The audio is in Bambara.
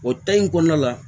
O ta in kɔnɔna la